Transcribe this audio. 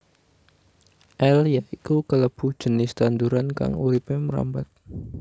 L iaiku kalebu jinis tanduran kang uripé mrambat